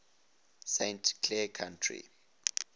santa clara county